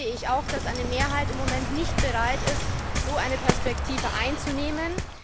Allerdings sehe ich auch, dass eine Mehrheit im Moment nicht bereit ist, eine solche Perspektive einzunehmen.